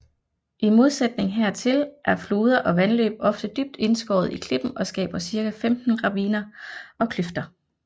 I modsætning hertil er floder og vandløb ofte dybt indskåret i klippen og skaber cirka 15 raviner og kløfter